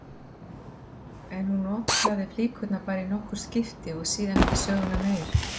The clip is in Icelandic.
En hún notaði flíkurnar bara í nokkur skipti og síðan ekki söguna meir.